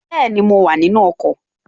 Bẹ́ẹ̀ni, mo wà nínu ọkọ̀